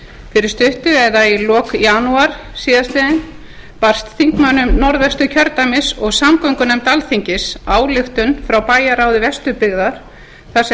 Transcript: fyrir stuttu eða í lok janúar síðastliðnum barst þingmönnum norðausturkjördæmis og samgöngunefnd alþingis ályktun frá bæjarráði vesturbyggðar þar